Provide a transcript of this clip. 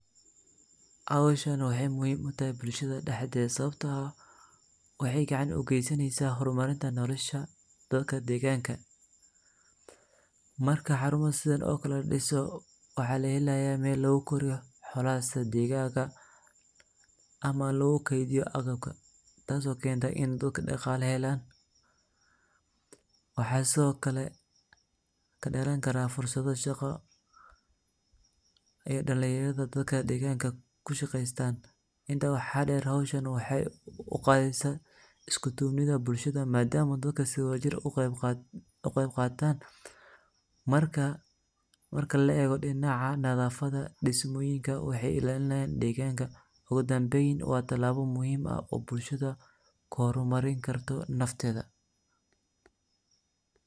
Xowshan waxay muxiim utaxay bulshada daxdeda, sawabto ah waxay gacan ugeysaneysa xormarinta nolosha dadka deganka, marka xaruma sidhan o kale ladiso, waxa laxelaya mel lagukoriyo xolada sida digaga, ama lagukedhiyo aqabka, taas oo kenta in dad daqala xelan, waxay Sidhokale kaderankaran fursado shaqaa, ay dalinyaradu dadka deganka kushageystan, inta waxa deer xowshaan waxay ugadeysa iskudobnida bulshada ama dadka si wada jir u geeb gatan, marka laego dinaca nadafada dismoyinka waxay celinayan deganka, ogudanmeyn wa tilabo muxiim ah oo bulshada kuhormarin karta nafteda.